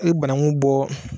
E banaŋu bɔɔ